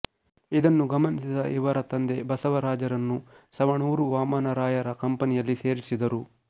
ಇದನ್ನು ಗಮನಿಸಿದ ಇವರ ತಂದೆ ಬಸವರಾಜರನ್ನು ಸವಣೂರ ವಾಮನರಾಯರ ಕಂಪನಿಯಲ್ಲಿ ಸೇರಿಸಿದರು